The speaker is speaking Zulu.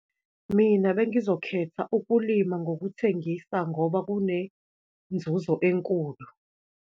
Mina, bengizokhetha ukulima ngokuthengisa ngoba kunenzuzo enkulu.